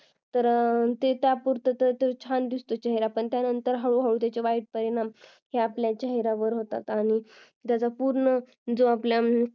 तर ते तात्पुरतो छान दिसतो चेहरा त्याच्यानंतर हळूहळू त्याचे वाईट परिणाम हे आपल्या चेहऱ्यावर होतात आणि आणि त्याचा पूर्ण